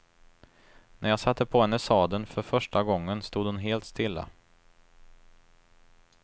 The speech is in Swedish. När jag satte på henne sadeln för första gången stod hon helt stilla.